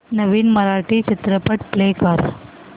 नवीन मराठी चित्रपट प्ले कर